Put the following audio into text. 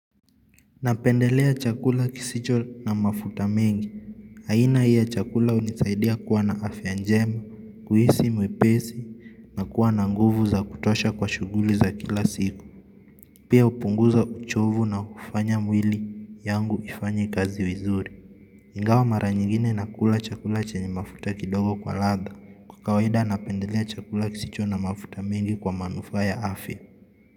Napendelea chakula kisicho na mafuta mengi. Haina hii ya chakula unisaidia kuwa na afya njema, kuhisi mwepesi, na kuwa na nguvu za kutosha kwa shughuli za kila siku. Pia upunguza uchovu na kufanya mwili yangu ifanye kazi vizuri. Ingawa mara nyingine nakula chakula chenye mafuta kidogo kwa ladha. Kwa kawaida napendelea chakula kisicho na mafuta mengi kwa manufa ya afya.